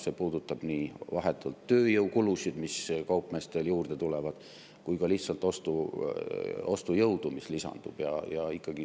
See puudutab vahetult tööjõukulusid, mis kaupmeestel juurde tulevad, aga ka lihtsalt ostujõudu, mis lisandub.